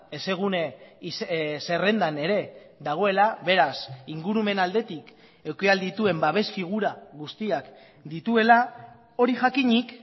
hezegune zerrendan ere dagoela beraz ingurumen aldetik eduki ahal dituen babes figura guztiak dituela hori jakinik